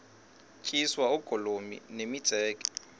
tyiswa oogolomi nemitseke